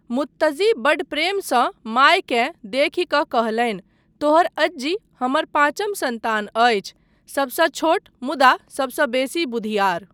मुत्तज्जी बड़ प्रेमसँ मायकेँ देखि कऽ कहलनि, तोहर अज्जी हमर पाँचिम सन्तान अछि, सबसँ छोट, मुदा सबसँ बेसी बुधिआर।